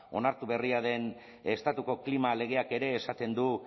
onartu berria den estatuko klima legeak ere esaten du